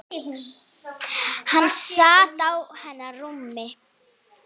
Hann sat á hennar rúmi!